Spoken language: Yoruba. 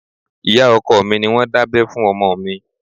Ìyá ọkọ mi ni wọ́n dábẹ́ fún ọmọ mi